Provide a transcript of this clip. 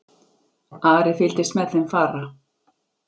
Ari fylgdist með þeim fara.